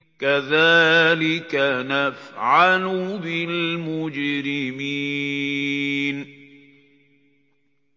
كَذَٰلِكَ نَفْعَلُ بِالْمُجْرِمِينَ